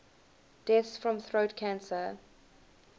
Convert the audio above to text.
deaths from throat cancer